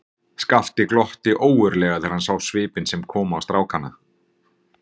Skapti glotti ógurlega þegar hann sá svipinn sem kom á strákana.